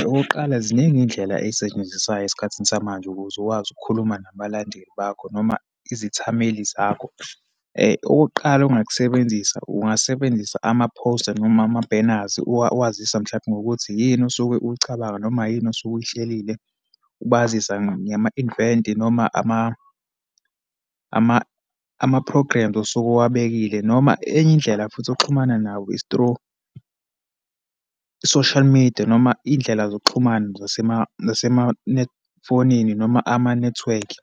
Okokuqala, ziningi izindlela ezisetshenziswayo esikhathini samanje ukuze ukwazi ukukhuluma nabalandeli bakho noma izithameli zakho. Okokuqala ongakusebenzisa, ungasebenzisa ama-poster, noma ama-banners. Uwazisa, mhlampe ngokuthi yini osuke uyicabanga, noma yini osuke uyihlelile. Ubazise ngama-event, noma ama-programs osuke uwabekile. Noma enye indlela futhi oxhumana nabo, is through social media, noma iyindlela zokuxhumana noma amanethiwekhi,